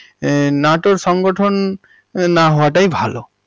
এহঃ নাটোর সংগঠন না হওয়াটাই ভালো।